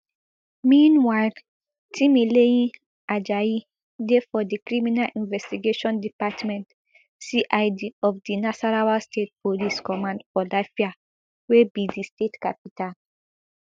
meanwhile timileyin ajayi dey for di criminal investigation department cid of di nasarawa state police command for lafia wey be di state capital